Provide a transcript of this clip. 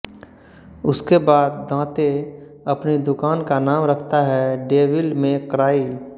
उसके बाद दांते अपनी दुकान का नाम रखता है डेविल मे क्राई